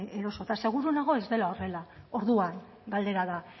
edota seguru nago ez dela horrela orduan galdera da